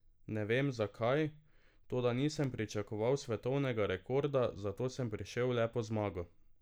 Ne vem, zakaj, toda nisem pričakoval svetovnega rekorda, zato sem prišel le po zmago.